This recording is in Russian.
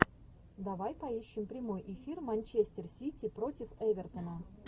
давай поищем прямой эфир манчестер сити против эвертона